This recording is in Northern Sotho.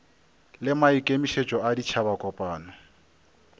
le maikemišetšo a ditšhaba kopano